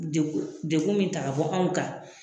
Degu degu min ta ka bɔ anw kan